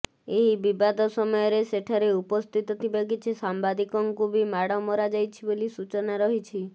ଏହି ବିବାଦ ସମୟରେ ସେଠାରେ ଉପସ୍ଥିିତ ଥିବା କିଛି ସାମ୍ବାଦିକଙ୍କୁ ବି ମାଡ଼ ମରାଯାଇଛି ବୋଲି ସୂଚନା ରହିଛି